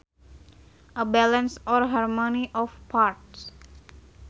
A balance or harmony of parts